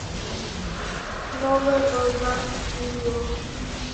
новая волна видео